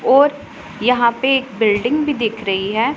ओर यहां पे एक बिल्डिंग भी दिख रही है।